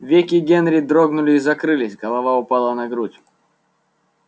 веки генри дрогнули и закрылись голова упала на грудь